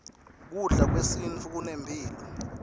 kudla kwesintfu kunemphilo